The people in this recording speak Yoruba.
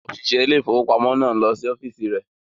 Òṣìṣẹ́ ilé ìfowópamọ́ náà ń lọ sí ọ́fíìsì rẹ̀.